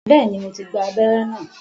Bẹ́ẹ̀ni, mo ti gba abẹ́rẹ́ náà